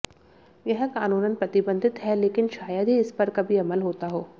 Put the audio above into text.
यह कानूनन प्रतिबंधित है लेकिन शायद ही इसपर कभी अमल होता हो